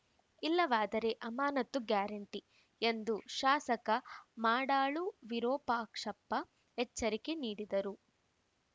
ಇಲ್ಲವಾದರೆ ಅಮಾನತು ಗ್ಯಾರಂಟಿ ಎಂದು ಶಾಸಕ ಮಾಡಾಳು ವಿರೂಪಾಕ್ಷಪ್ಪ ಎಚ್ಚರಿಕೆ ನೀಡಿದರು